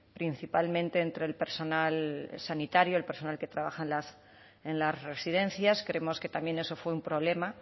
principalmente entre el personal sanitario el personal que trabaja en las residencias creemos que también eso fue un problema